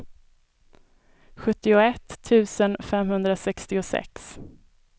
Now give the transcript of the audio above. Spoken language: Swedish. sjuttioett tusen femhundrasextiosex